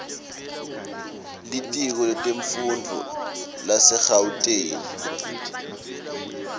litiko letemfundvo lasegauteng